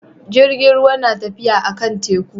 Jirgin ruwa na tafiya a kan teku